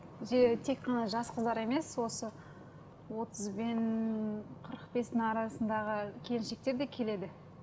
тек қана жас қыздар емес осы отыз бен қырық бестің арасындағы келіншектер де келеді